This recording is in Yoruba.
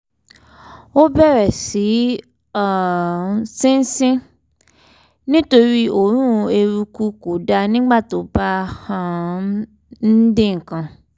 ó bẹ̀rẹ̀ sí um í sín nítorí òórùn eruku kódà nígbà tó bá ń um dín nǹkan